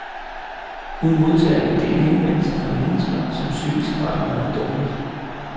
Hun modtager en del henvendelser fra mennesker, som psykisk har det meget dårligt.